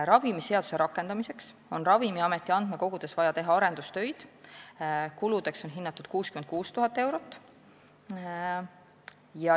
Ravimiseaduse rakendamiseks on Ravimiameti andmekogudes vaja teha arendustöid, kuludeks on hinnatud 66 000 eurot.